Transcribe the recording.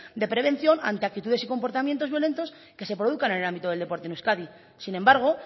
de prevención ante actitudes y comportamiento violentos que se produzcan en el ámbito del deporte en euskadi sin embargo